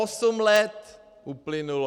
Osm let uplynulo.